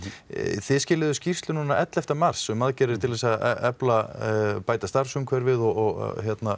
þið skýrslu núna elleftu mars um aðgerðir til að efla og bæta starfsumhverfið og